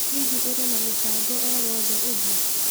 Hihi ũrĩ na mĩbango o wothe ũngĩ?